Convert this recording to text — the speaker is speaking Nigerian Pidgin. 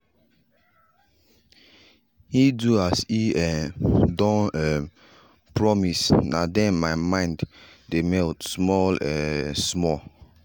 he do as e um don um promise nah then my mind dey melt small um small.